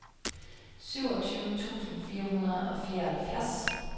syvogtyve tusind fire hundrede og fireoghalvfjerds